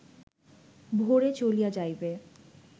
ভোরে চলিয়া যাইবে